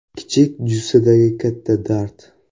Kichik jussadagi katta dard.